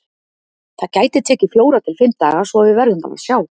Það gæti tekið fjóra til fimm daga, svo að við verðum bara að sjá.